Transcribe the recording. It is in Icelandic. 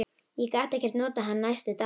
Ég gat ekkert notað hann næstu daga.